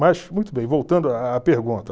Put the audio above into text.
Mas, muito bem, voltando à à à pergunta.